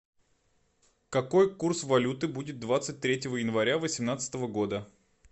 какой курс валюты будет двадцать третьего января восемнадцатого года